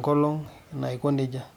from the sun